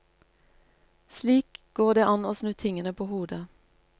Slik går det an å snu tingene på hodet.